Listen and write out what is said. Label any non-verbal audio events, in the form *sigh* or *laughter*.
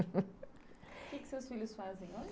*laughs* quê que seus filhos fazem hoje?